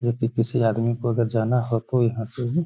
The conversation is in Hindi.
यदि किसी आदमी को उधर जाना हो तो यहाँ से भी --